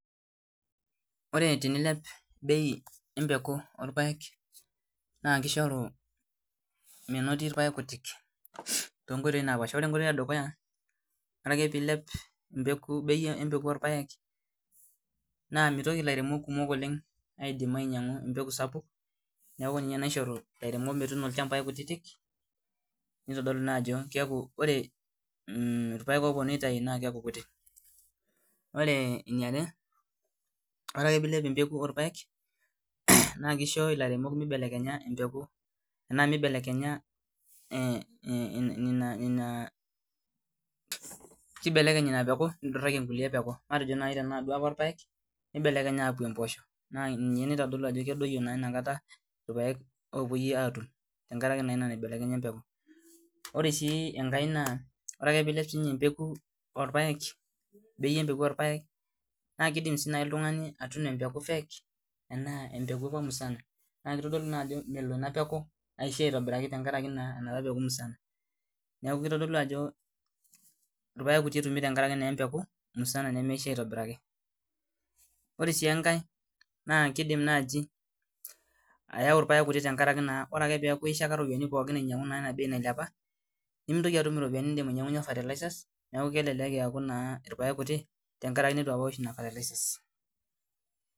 Ore tenilep embeku orpaek naa kishoru menoti irpaek kituik ore enkoitoi edukuya ore ake pee eilep bei embeku orpaek naa mitoki elairemok kumok oleng ainyiang'u embeku sapuk naa ninye naishoru ilairemok metuni ilchambai kutiti neeku kitodolu Ajo ore irpaek opunui aitau naa kikutik neeku ore eniare ore eke pee eilep embeku orpaek naa kisho elairemok mibelekenya ena peeku nidoraki ai neeku tenaa irpaek nibelekeny akuu mboshok naa ninye nibelekenye naitodolu Ajo kikiti irpaek opuoi atum tenkaraki ena nibelekenye embeku ore sii enkae ore ake pee eilep embeku orpaek naa kidim sii naaji oltung'ani atuno embeku fake ashu embeku musana neeku kitodolu Ajo melo ena aitobiraki tenkaraki kimusa neeku irpaek kuti etumi nemeisho aitobiraki ore sii enkae naa kidim ayau irpaek kuti tenkaraki ore ake pee ekuu eyishaka eropiani ainyiang'u ena nailepua nimintoki atum eropiani nidim ainyiang'unye fertilizers neeku kelelek eku irpaek kuti tenkaraki eitu ewosh Nena fertilizers